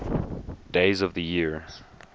days of the year